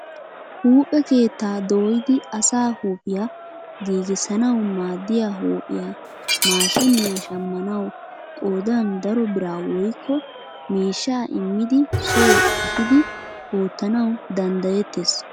Huuphphe keettaa dooyidi asaa huuphphiyaa gigissanwu maaddiyaa huuphphiyaa maashiniyaa shammanawu qoodan daro biraa woykko miishshaa immidi soo ehiidi oottanwu danddayettes.